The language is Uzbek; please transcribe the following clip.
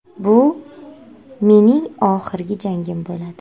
Bu mening oxirgi jangim bo‘ladi.